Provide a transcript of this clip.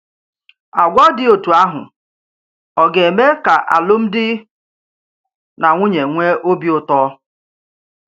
Àgwà dị otú áhù ọ ga-eme kà alụmdi na nwunye nwee òbì ùtọ